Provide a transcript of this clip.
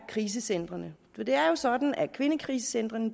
krisecentrene for det er jo sådan at kvindekrisecentrene